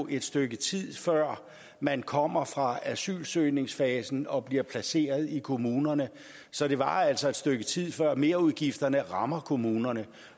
et stykke tid før man kommer fra asylsøgningsfasen og bliver placeret i kommunerne så det varer altså et stykke tid før merudgifterne rammer kommunerne